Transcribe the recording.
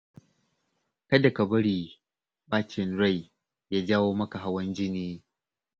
Kada ka bari ɓacin rai ya jawo maka hawan jini.